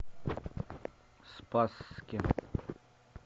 спасске